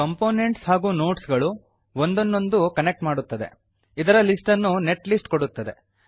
components ಹಾಗೂ nodes ಗಳು ಒಂದನ್ನೊಂದು ಕನೆಕ್ಟ್ ಮಾಡುತ್ತದೆ ಇದರ ಲಿಸ್ಟ್ ನ್ನು ನೆಟ್ ಲಿಸ್ಟ್ ಕೊಡುತ್ತದೆ